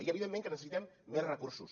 i evidentment que necessitem més recursos